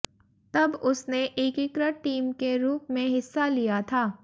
तब उसने एकीकृत टीम के रूप में हिस्सा लिया था